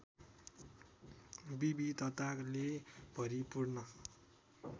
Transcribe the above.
विविधताले भरिपूर्ण